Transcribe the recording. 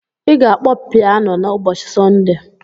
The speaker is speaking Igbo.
Ị ga-akpọ pianu n'ụbọchị Sọnde.